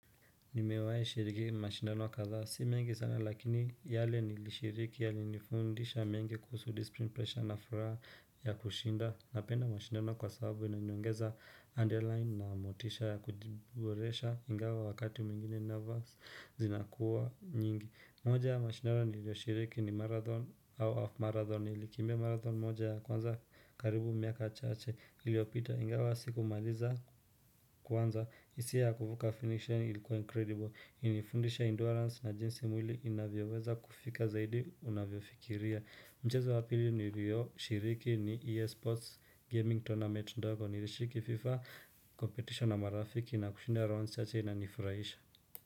Nimewai shiriki mashindano kadhaa si mengi sana lakini yale nilishiriki yali nifundisha mengi kuhusu discipline pressure na furaha ya kushinda na penda mashindano kwa sababu inaniongeza underline na motisha ya kujiboresha ingawa wakati mwingine nervous zinakuwa nyingi moja ya mashindano nilioshiriki ni marathon au half marathon nilikimbia marathon moja ya kwanza karibu miaka chache iliopita ingawa sikumaliza kwanza isia ya kuvuka finish line ilikuwa incredible ilinifundisha endurance na jinsi mwili inavyoweza kufika zaidi unavyofikiria Mchezo wa pili niilioshiriki ni ea-sports gaming tournament ndogo nilishiriki fifa competition na marafiki na kushinda rounds chache inanifurahisha.